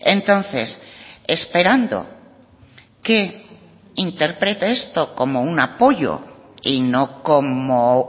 entonces esperando que interprete esto como un apoyo y no como